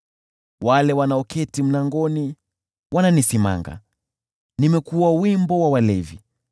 Wale wanaoketi mlangoni wananisimanga, nimekuwa wimbo wa walevi.